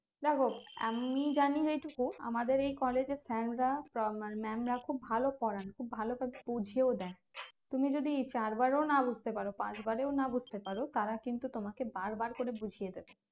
দেখো আমি জানি এটুকু আমাদের এই college এর sir রা বা ma~ mam রাখুব ভালো পড়ান খুব ভালো করে বুঝিয়েও দেন তুমি যদি চার বারেও না বুঝতে পারো পাঁচ বারেও না বুঝতে পারো তারা কিন্তু তোমাকে বারবার করে বুঝিয়ে দেবে